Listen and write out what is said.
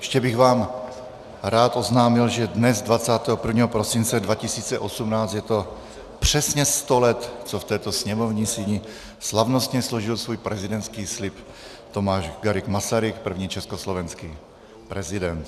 Ještě bych vám rád oznámil, že dnes, 21. prosince 2018, je to přesně sto let, co v této sněmovní síni slavnostně složil svůj prezidentský slib Tomáš Garrigue Masaryk, první československý prezident.